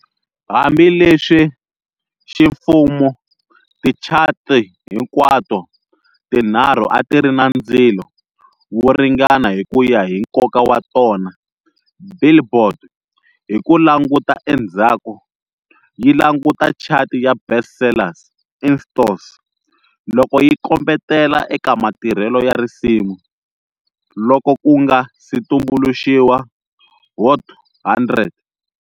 Hambi leswi ximfumo tichati hinkwato tinharhu a ti ri na "ndzilo" wo ringana hi ku ya hi nkoka wa tona,"Billboard" hi ku languta endzhaku yi languta chati ya "Best Sellers in Stores" loko yi kombetela eka matirhelo ya risimu loko ku nga si tumbuluxiwa Hot 100.